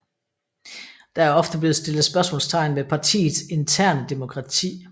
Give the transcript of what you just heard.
Der er ofte blevet stillet spørgsmålstegn ved partiets interne demokrati